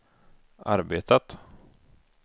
arbetat